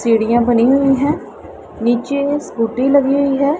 सीढ़ियां बनी हुई है नीचे स्कूटी लगी हुई है।